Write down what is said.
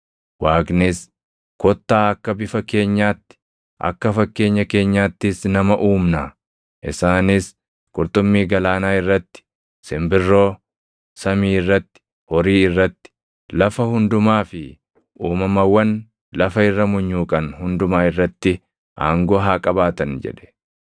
Waaqnis, “Kottaa akka bifa keenyaatti, akka fakkeenya keenyaattis nama uumnaa; isaanis qurxummii galaanaa irratti, simbirroo samii irratti, horii irratti, lafa hundumaa fi uumamawwan lafa irra munyuuqan hundumaa irratti aangoo haa qabaatan” jedhe.